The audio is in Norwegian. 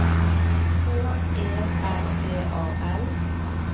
H E L D A L